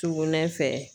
Sugunɛ fɛ